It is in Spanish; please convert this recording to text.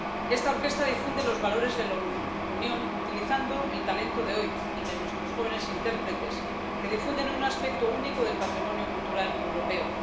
Esta orquesta difunde los valores de la Unión utilizando el talento de hoy, el de nuestros jóvenes intérpretes, que difunden un aspecto único del patrimonio cultural europeo.